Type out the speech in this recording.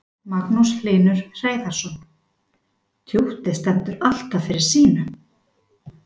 Magnús Hlynur Hreiðarsson: Tjúttið stendur alltaf fyrir sínu?